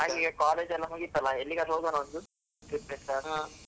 ಹಂಗೆ college ಎಲ್ಲ ಮುಗಿತಲ್ಲ ಎಲ್ಲಿಗಾದ್ರೂ ಹೋಗುವನ ಒಂದು. .